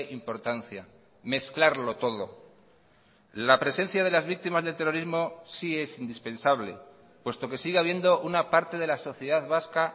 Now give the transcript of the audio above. importancia mezclarlo todo la presencia de las víctimas del terrorismo sí es indispensable puesto que sigue habiendo una parte de la sociedad vasca